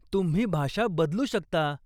तुम्ही भाषा बदलू शकता.